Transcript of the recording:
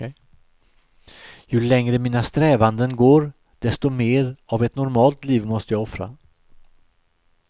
Ju längre mina strävanden går, desto mer av ett normalt liv måste jag offra.